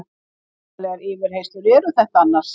Voðalegar yfirheyrslur eru þetta annars.